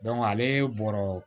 ale bɔra